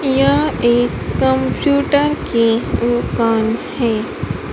यह एक कंप्यूटर की दुकान है।